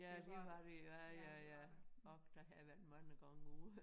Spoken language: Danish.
Ja det var det ja ja ja ok der har jeg været mange gange ude